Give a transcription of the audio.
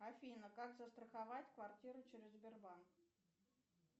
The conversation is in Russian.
афина как застраховать квартиру через сбербанк